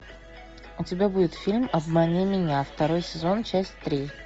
у тебя будет фильм обмани меня второй сезон часть три